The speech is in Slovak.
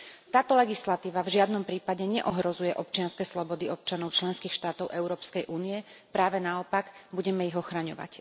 Táto legislatíva v žiadnom prípade neohrozuje občianske slobody občanov členských štátov Európskej únie, práve naopak, budeme ich ochraňovať.